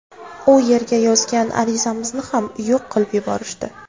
U yerga yozgan arizamizni ham yo‘q qilib yuborishdi.